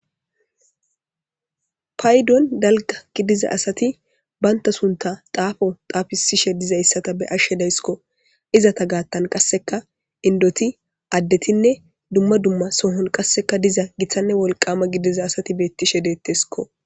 Paydon dalgga gidiza asathi banththa sunththaa xaafo xaafissishishe dizayssatha be7ashe de7ays koo;izatha gaaththan qassika inddothi addethinne dumma dumma Sohon qassika diza githanne wolqqaama gidiza asathi beeththishe deetheskoo.